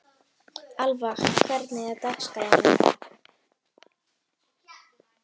Alva, hvernig er dagskráin í dag?